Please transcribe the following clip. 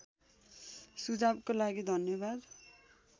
सुझावको लागि धन्यवाद